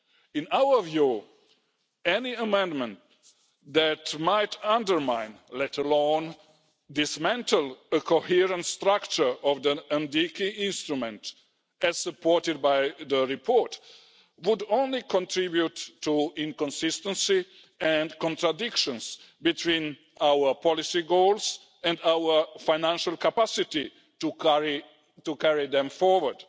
In our view, any amendment that might undermine let alone dismantle a coherent structure of the NDICI instrument, as supported by the report, would only contribute to inconsistency and contradictions between our policy goals and our financial capacity to carry them forward.